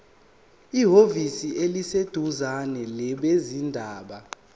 ehhovisi eliseduzane labezindaba